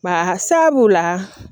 Basa b'o la